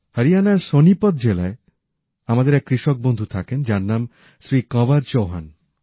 হরিয়ানার সোনিপত জেলায় আমাদের এক কৃষক বন্ধু থাকেন যার নাম শ্রী কংয়ার চৌহান